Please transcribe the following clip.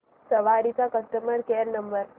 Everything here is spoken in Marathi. सवारी चा कस्टमर केअर नंबर